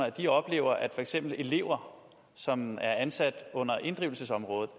at de oplever at for eksempel elever som er ansat under inddrivelsesområdet